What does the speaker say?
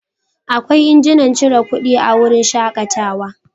Akwai injinan cire kuɗi a wurin shakatawa.